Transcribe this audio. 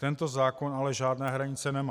Tento zákon ale žádné hranice nemá.